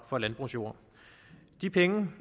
på landbrugsjord de penge